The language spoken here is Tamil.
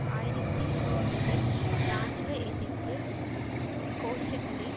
ஆயிரத்தி ஒன்பதில் இராணுவ எதிர்ப்பு கோஷங்களை